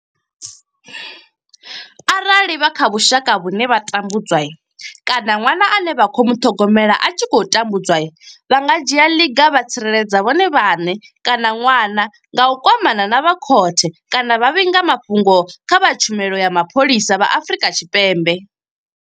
Arali vha kha vhushaka vhune vha tambudzwa kana ṅwana ane vha khou muṱhogomela a tshi khou tambudzwa vha nga dzhia ḽiga vha tsireledza vhone vhaṋe kana ṅwana nga u kwamana na vha khothe kana vha vhiga mafhungo kha vha tshumelo ya Mapholisa vha Afrika Tshipembe.